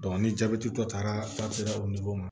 ni jabɛtitɔ taara ma